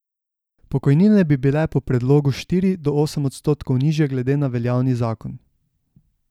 Pokojnine bi bile po predlogu štiri do osem odstotkov nižje glede na veljavni zakon.